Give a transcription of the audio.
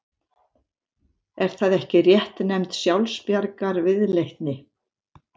Er það ekki réttnefnd sjálfsbjargarviðleitni?